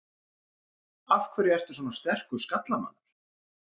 Af hverju ertu svona sterkur skallamaður?